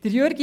Jürg